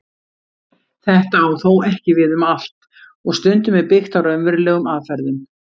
Þetta á þó ekki við um allt og stundum er byggt á raunverulegum aðferðum.